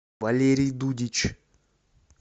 валерий дудич